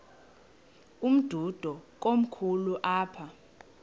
umdudo komkhulu apha